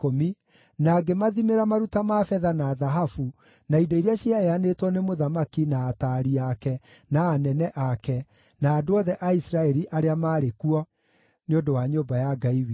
na ngĩmathimĩra maruta ma betha na thahabu, na indo iria ciaheanĩtwo nĩ mũthamaki, na ataari ake, na anene ake, na andũ othe a Isiraeli arĩa maarĩ kuo, nĩ ũndũ wa nyũmba ya Ngai witũ.